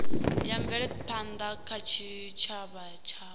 ya mvelaphanda kha tshitshavha tshavho